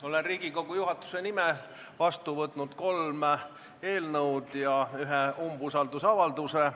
Olen Riigikogu juhatuse nimel vastu võtnud kolm eelnõu ja ühe umbusaldusavalduse.